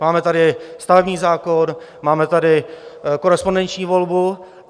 Máme tady stavební zákon, máme tady korespondenční volbu.